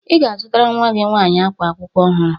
Ị ga-azụtara nnwa gị nwaanyị ákwá akwụkwọ ọhụrụ